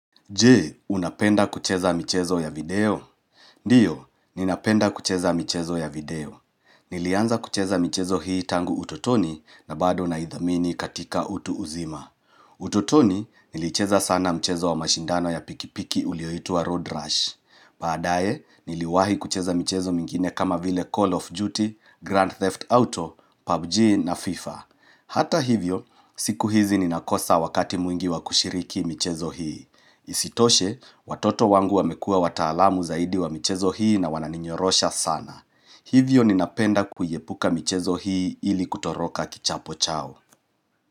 Je, unapenda kucheza michezo ya video? Ndiyo, ninapenda kucheza michezo ya video. Nilianza kucheza michezo hii tangu utotoni na bado naidhamini katika utu uzima. Utotoni, nilicheza sana mchezo wa mashindano ya pikipiki ulioitwa Road Rush. Baadae, niliwahi kucheza michezo mingine kama vile Call of Duty, Grand Theft Auto, PUBG na FIFA. Hata hivyo, siku hizi ninakosa wakati mwingi wa kushiriki michezo hii. Isitoshe, watoto wangu wamekua wataalamu zaidi wa michezo hii na wananinyorosha sana Hivyo ninapenda kuyaepuka michezo hii ili kutoroka kichapo chao.